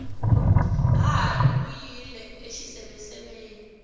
hahani u yile exiseveseveni